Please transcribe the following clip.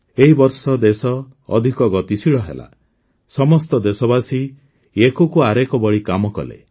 ଏହି ବର୍ଷ ଦେଶ ଅଧିକ ଗତିଶୀଳ ହେଲା ସମସ୍ତ ଦେଶବାସୀ ଏକକୁ ଆରେକ ବଳି କାମ କଲେ